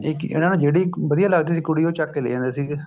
ਠੀਕ ਆ ਨਾ ਜਿਹੜੀ ਇੱਕ ਵਧੀਆ ਲੱਗਦੀ ਸੀ ਕੁੜੀ ਉਹ ਚੱਕ ਕੇ ਲੈ ਜਾਂਦੇ ਸੀਗੇ